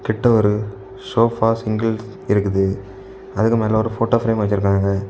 இங்கிட்ட வொரு sofa singles இருக்குது அதுக்கு மேல ஒரு போட்டோ பிரேம் வச்சிருக்காங்க.